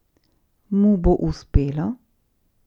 Mu bo uspelo?